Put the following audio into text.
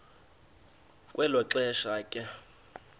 kwelo xesha ke